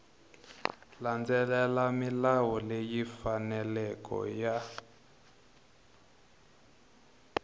landzelela milawu leyi faneleke ya